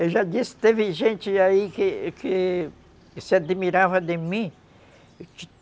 Eu já disse, teve gente aí que que se admirava de mim.